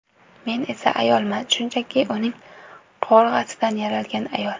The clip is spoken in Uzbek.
Men esa ayolman, shunchaki uning qovurg‘asidan yaralgan ayol.